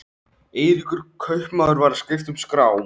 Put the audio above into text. Eiríkur kaupmaður var að skipta um skrá.